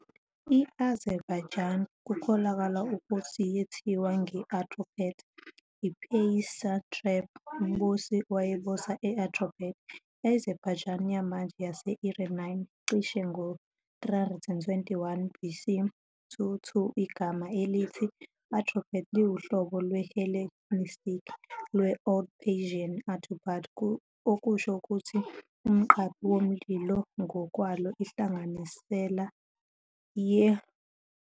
I-Azerbaijan kukholakala ukuthi yethiwa nge-Atropates, i-Persiansatrap, umbusi, owayebusa e-Atropatene, i-Azerbaijan yamanje yase-Iranian, cishe ngo-321 BC- 2 Igama elithi Atropates liwuhlobo lwe-Hellenistic lwe-Old Persian Aturpat okusho ukuthi 'umqaphi womlilo' ngokwalo inhlanganisela ye